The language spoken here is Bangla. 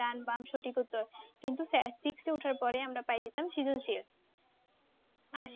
ডান, বাম সঠিক উত্তর। কিন্তু সে~ six এ উঠার পড়ে আমরা প্রায়ে যেতাম আর